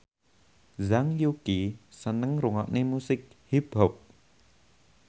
Zhang Yuqi seneng ngrungokne musik hip hop